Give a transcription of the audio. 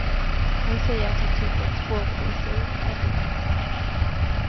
Hon säger att hon tycker att språket i sig är dikt.